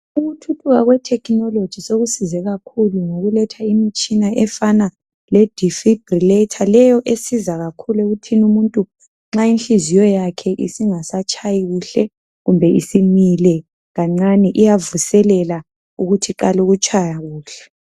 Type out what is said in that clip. ukuthuthuka kwe technology kusize kakhulu ngokuletha imitshina efana le difibrillator leyo esiza kakhulu umuntu nxa inhliziyo yakhe isingasa tshayi kuhle kumbe ismile kancane iyavuselelwa ukuthi iqale ukutshaya kuhle